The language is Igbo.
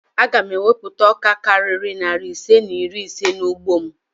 Aga m ewupụta ọka karịrị narị ise na iri ise n'ugbo m